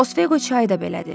Osveqo çayı da belədir.